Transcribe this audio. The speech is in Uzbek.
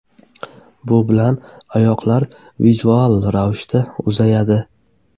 Bu bilan oyoqlar vizual ravishda uzayadi.